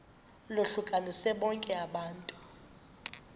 lohlukanise bonke abantu